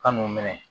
Kan'u minɛ